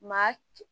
Maa